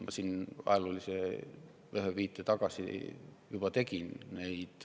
Ma siin ühe ajaloolise viite juba tegin.